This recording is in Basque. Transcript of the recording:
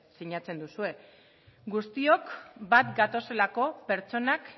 sinatzen duzue guztiok bat gatozelako pertsonak